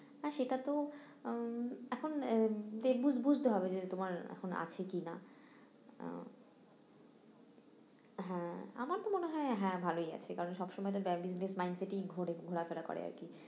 হ্যাঁ সেটা তো আহ এখন বুঝতে হবে যে তোমার এখন আছে কি না আহ হ্যাঁ আমার তো মনে হয় হ্যাঁ ভালোই আছে কারণ সবসময় তো business mind set ই ঘোরে ঘোরা ফেরা করে আরকি